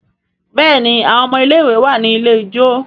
Béèni àwọn ọmọ ilé ìwé wá ní ilẹ̀ ijọ.